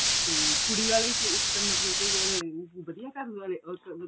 ਵੀ ਕੁੜੀ ਆਲੇ ਕਿਸ ਮਤਲਬ ਕੀ ਵਧੀਆ ਘਰ ਵਾਲੇ ਮਤਲਬ